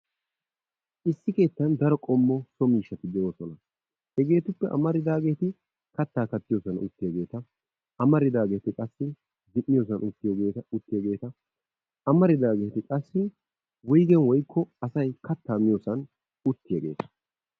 Issi keetan daro qoommo so miishshati de"oosona. Hegetuppe amaridaageti kaattaa kaattiyoosan uttiyaageta, amaridaageti qassi efiyoosan uttiyaageta amaridaageti qassi wuygeen woykko asay kattaa miyoosan uttiyaageta.